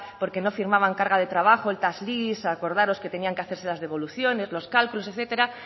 porque no firmaban carga de trabajo el tax lease acordaros que tenían que hacerse las devoluciones los cálculos etcétera